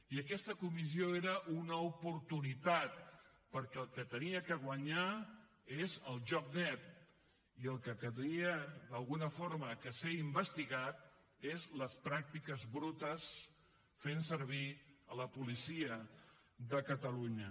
i aquesta comissió era una oportunitat perquè el que havia de guanyar és el joc net i el que havia d’alguna forma de ser investigat són les pràctiques brutes fent servir la policia de catalunya